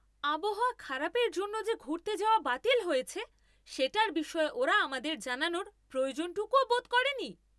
আবহাওয়া খারাপের জন্য যে ঘুরতে যাওয়া বাতিল হয়েছে, সেটার বিষয়ে ওরা আমাদের জানানোর প্রয়োজনটুকুও বোধ করেনি।